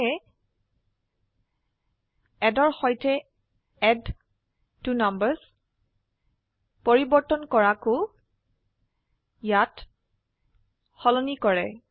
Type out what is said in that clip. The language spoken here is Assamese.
সেয়ে এড ৰ সৈতে এডট্বনাম্বাৰ্ছ পৰিবৰ্তন কৰাকো ইয়াত সলনি কৰে